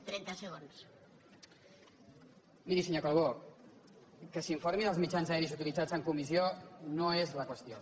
miri senyor calbó que s’informi dels mitjans aeris utilitzats en comissió no és la qüestió